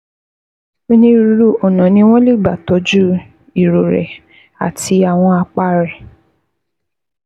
Onírúurú ọ̀nà ni wọ́n lè gbà tọ́jú irorẹ́ àti àwọn àpá rẹ̀